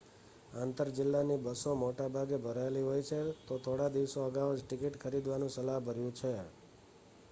આંતર-જિલ્લાની બસો મોટા ભાગે ભરાયેલી હોય છે તો થોડા દિવસો અગાઉ જ ટિકિટ ખરીદવાનું સલાહભર્યું છે